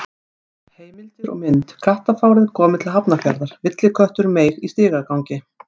Heimildir og mynd: Kattafárið komið til Hafnarfjarðar: Villiköttur meig í stigagangi.